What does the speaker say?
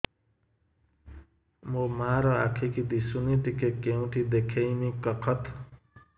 ମୋ ମା ର ଆଖି କି ଦିସୁନି ଟିକେ କେଉଁଠି ଦେଖେଇମି କଖତ